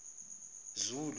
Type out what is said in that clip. zulu